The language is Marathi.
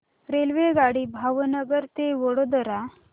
रेल्वेगाडी भावनगर ते वडोदरा